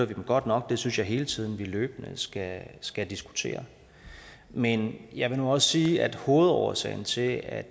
vi dem godt nok det synes jeg hele tiden vi løbende skal skal diskutere men jeg vil nu også sige at hovedårsagen til at